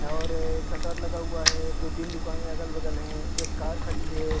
और शटर लगा हुआ है दो-तीन दुकानें अगल-बगल हैं एक कार खड़ी है।